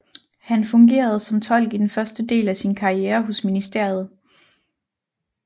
Han fungerede som tolk i den første del af sin karriere hos ministeriet